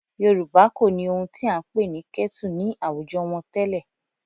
Yorùbá kò ní ohun tí à ń pè ní kẹ́tù ní àwùjọ wọn tẹ́lẹ̀